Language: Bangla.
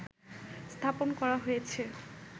স্থাপন করা হয়েছে